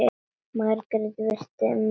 Margrét virti mennina fyrir sér.